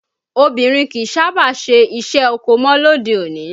Obìnrin kìí sábà ṣe iṣẹ́ oko mọ lóde-òní